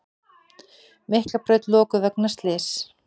Miklabraut lokuð vegna slyss